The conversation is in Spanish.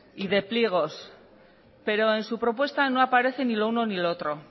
y de pliegos pero en su propuesta no aparece ni lo uno ni lo otro